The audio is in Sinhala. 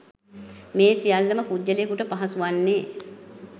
මේ සියල්ල ම පුද්ගලයකුට පහසු වන්නේ